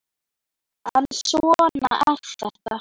En svona er þetta!